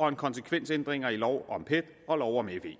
og konsekvensændringer i lov om pet og lov om fe